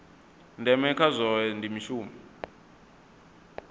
ndeme kha zwohe ndi mushumo